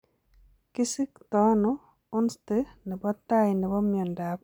Kisiktoono onste nebo taai nebo miondab autosomal dominant Alzheimer?